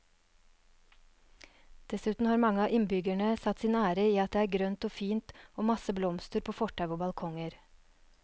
Dessuten har mange av innbyggerne satt sin ære i at det er grønt og fint og masse blomster på fortau og balkonger.